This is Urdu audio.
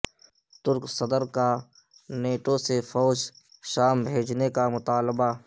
ترک صدر کا نیٹو سے فوج شام بھیجنے کا مطالبہ